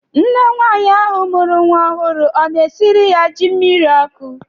Nne nwaanyị ahụ mụrụ nwa ọhụrụ ọ na-esiri ya ji mmiri ọkụ?